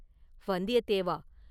வந்தியத்தேவா!